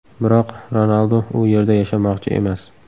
Biroq Ronaldu u yerda yashamoqchi emas.